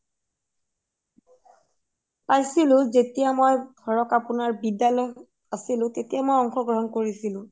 পাইছিলো যেতিয়া মই ধোৰোক আপুনাৰ বিদ্যালয়ত আছিলো তেতিয়া মই অংশগ্ৰহণ কৰিছিলো